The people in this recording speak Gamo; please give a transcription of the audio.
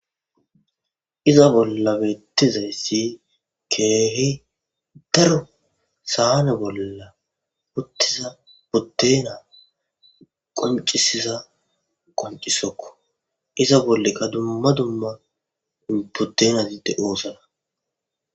iza bollabeettizayssi keehi daro saane bolla uttiza potena qoncisiza qoncisokko iza bollekka dumma dumma potenadide oosana